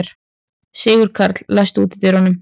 Sigurkarl, læstu útidyrunum.